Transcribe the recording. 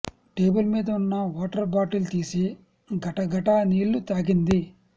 table మీద ఉన్న water bottle తీసి గటగటా నీళ్ళు తాగింది